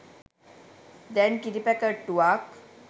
දැන් කිරි පැකැට්ටුවක්